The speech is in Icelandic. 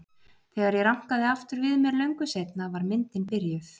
Þegar ég rankaði aftur við mér löngu seinna var myndin byrjuð.